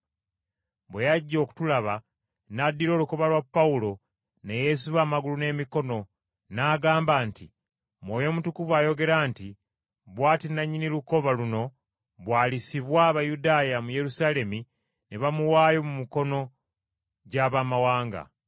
Bwe yajja okutulaba, n’addira olukoba lwa Pawulo ne yeesiba amagulu n’emikono, n’agamba nti, “Mwoyo Mutukuvu ayogera nti, ‘Bw’ati nannyini lukoba luno bw’alisibwa Abayudaaya mu Yerusaalemi ne bamuwaayo mu mikono gy’Abamawanga.’ ”